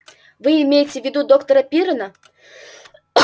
вы имеете в виду доктора пиренна